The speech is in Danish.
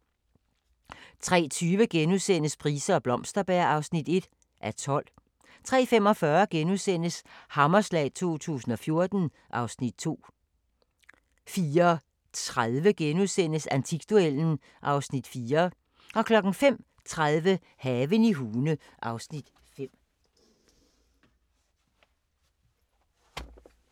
03:20: Price og Blomsterberg (1:12)* 03:45: Hammerslag 2014 (Afs. 2)* 04:30: Antikduellen (Afs. 4)* 05:30: Haven i Hune (Afs. 5)